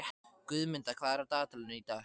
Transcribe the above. Guðmunda, hvað er á dagatalinu í dag?